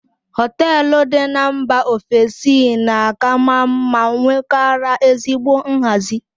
Hoteelu dị n'mba ofesi na-aka maa mma nwekwara ezigbo nhazi.